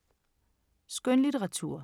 Skønlitteratur